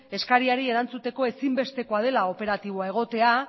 eskariari entzuteko ezinbestekoa dela operatiboa egotea